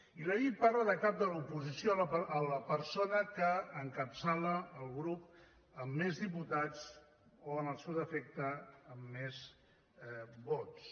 i la llei parla de cap de l’oposició a la persona que encapçala el grup amb més diputats o en el seu defecte amb més vots